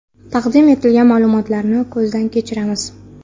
Taqdim etilgan ma’lumotlarni ko‘zdan kechiramiz.